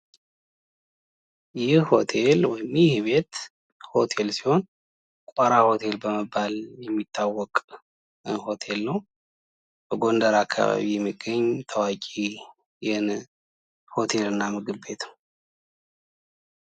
ይህ ቤት ሆቴል በመባል የሚታወቅ ሲሆን ቋራ ሆቴል ይባላል ።በጎንደር አካባቢ የሚገኝ ሆቴል እና ምግብ ቤት ነው ።